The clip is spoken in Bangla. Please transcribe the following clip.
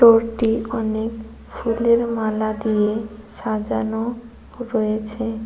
গরটি অনেক ফুলের মালা দিয়ে সাজানো রয়েছে।